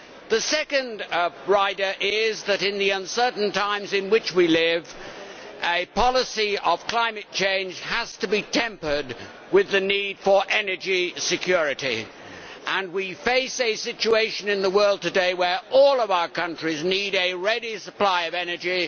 The second rider is that, in the uncertain times in which we live, a policy of climate change has to be tempered with the need for energy security. We face a situation in the world today where all of our countries need a ready supply of energy.